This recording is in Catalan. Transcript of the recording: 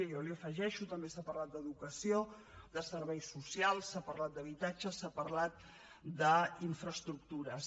jo n’hi afegeixo també s’ha parlat d’educació de serveis socials s’ha parlat d’habitatge s’ha parlat d’infraestructures